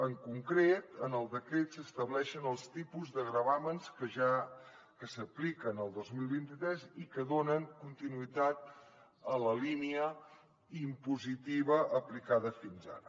en concret en el decret s’estableixen els tipus de gravàmens que s’apliquen el dos mil vint tres i que donen continuïtat a la línia impositiva aplicada fins ara